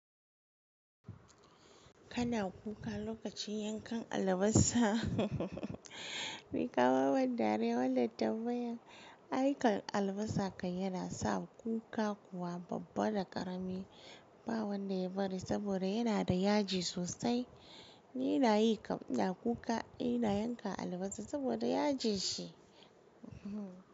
Kana kuka lokacin yankan albasa ni kama ban dariya wannan tambayan. Aikan albasa kai yana sa kuka kuwa babba da karami, ba wanda ya bari saboda yana da yaji sosai. Ni ina yi kam ina kuka, in ina yanka albasa saboda yaji shi.